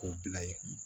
K'o bila yen